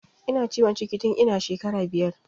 Ina ciwon ciki tun ina shekara biyar